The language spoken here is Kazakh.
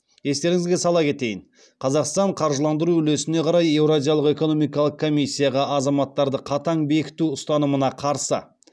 естеріңізге сала кетейін қазақстан қаржыландыру үлесіне қарай еуразиялық экономикалық комиссияға азаматтарды қатаң бекіту ұстанымына қарсы